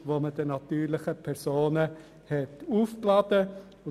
Ich habe den Betrag nicht genau ausgerechnet.